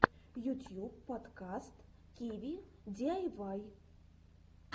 ютьюб подкаст киви диайвай